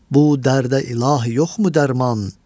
Bu dərdə ilahi yoxmu dərman?